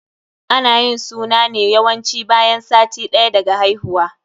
Ana yin suna ne yawanci bayan sati ɗaya daga haihuwa.